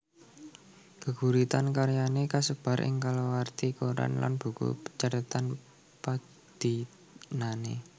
Gêguritan karyané kasêbar ing kalawarti koran lan buku cathêtan padinané